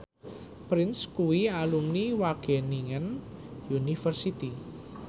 Prince kuwi alumni Wageningen University